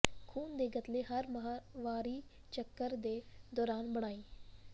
ਖੂਨ ਦੇ ਗਤਲੇ ਹਰ ਮਾਹਵਾਰੀ ਚੱਕਰ ਦੇ ਦੌਰਾਨ ਬਣਾਈ